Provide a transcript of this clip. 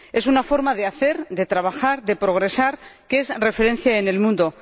Es una forma de hacer, de trabajar, de progresar, que es referencia en el mundo.